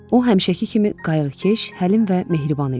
O, həmişəki kimi qayğıkeş, həlim və mehriban idi.